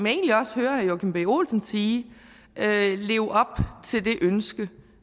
egentlig også hører herre joachim b olsen sige leve op til det ønske